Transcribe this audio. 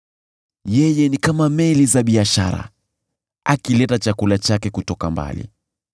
Yeye ni kama meli za biashara akileta chakula chake kutoka mbali.